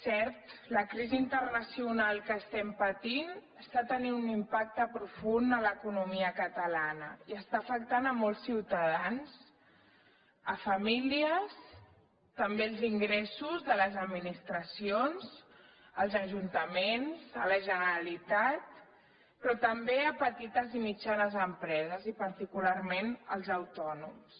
cert la crisi internacional que estem patint està tenint un impacte profund a l’economia catalana i està afectant molts ciutadans famílies també els ingressos de les administracions els ajuntaments la generalitat però també petites i mitjanes empreses i particularment els autònoms